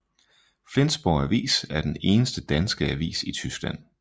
Flensborg Avis er den eneste danske avis i Tyskland